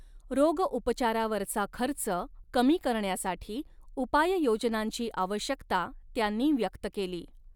रोगउपचारावरचा खर्च कमी करण्यासाठी उपाययोजनांची आवश्यकता त्यांनी व्यक्त केली.